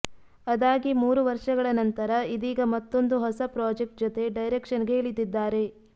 ಅದಾಗಿ ಮೂರು ವರ್ಷಗಳ ನಂತರ ಇದೀಗ ಮತ್ತೊಂದು ಹೊಸ ಪ್ರಾಜೆಕ್ಟ್ ಜತೆ ಡೈರೆಕ್ಷನ್ಗೆ ಇಳಿದಿದ್ದಾರೆ